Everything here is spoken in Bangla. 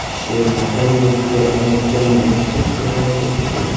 সেই মাঠের মইধ্যে অনেকজন মানুষ দেখতে পাওয়া যাচ্ছে।